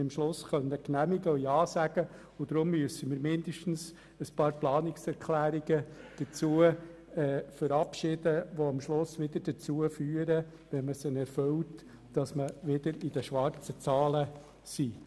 Deshalb müssen wir mindestens ein paar Planungserklärungen dazu verabschieden, die dazu führen, dass der Kanton in den schwarzen Zahlen bleibt.